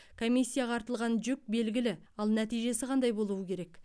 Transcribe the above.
комиссияға артылған жүк белгілі ал нәтижесі қандай болуы керек